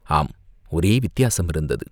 ஆம், ஒரே வித்தியாசம் இருந்தது.